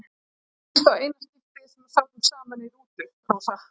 Þetta var í fyrsta og eina skiptið sem við sátum saman í rútu, Rósa.